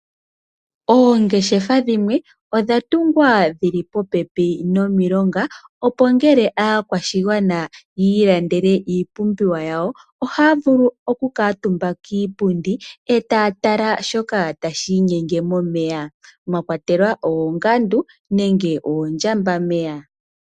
Oongeshefa dhimwe odha tungwa dhili popepi nomilonga, opo ngele aakwashigwana yi ilandele iipumbiwa yawo, ohaya vulu oku kuutumba kiipundi etaya tala shoka tashi inyenge momeya, mwa kwatelwa oongandu, nenge oondjambameya.